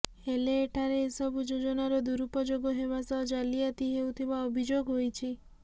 ହେଲେ ଏଠାରେ ଏସବୁ ଯୋଜନାର ଦୁରୁପଯୋଗ ହେବା ସହ ଜାଲିଆତି ହେଉଥିବା ଅଭିଯୋଗ ହୋଇଛି